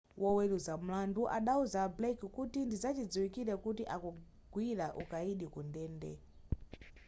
woweruza mlandu adauza a blake kuti ndizachidziwikiretu kuti akagwira ukayidi ku ndende